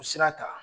U sira ta